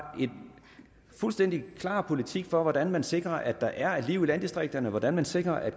en fuldstændig klar politik for hvordan man sikrer at der er et liv i landdistrikterne hvordan man sikrer at